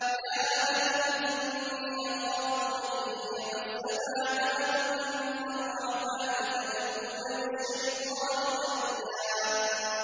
يَا أَبَتِ إِنِّي أَخَافُ أَن يَمَسَّكَ عَذَابٌ مِّنَ الرَّحْمَٰنِ فَتَكُونَ لِلشَّيْطَانِ وَلِيًّا